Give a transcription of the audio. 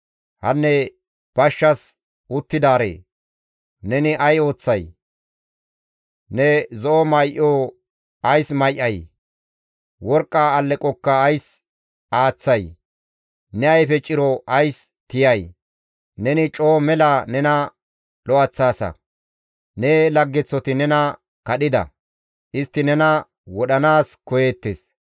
Hanne bashshas uttidaaree! Neni ay ooththay? Ne zo7o may7o ays may7ay? Worqqa alleqokka ays aaththay? Ne ayfe ciro ays tiyay? Neni coo mela nena lo7eththaasa; Ne laggeththoti nena kadhida; istti nena wodhanaas koyeettes.